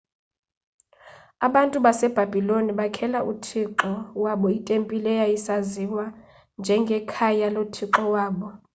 abantu basebhabhiloni bakhela uthixo wabo itempile eyayisaziwa njengekhaya lothixo wabo